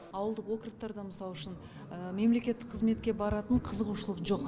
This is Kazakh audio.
ауылдық округтарда мысал үшін мемлекеттік қызметке баратын қызығушылық жоқ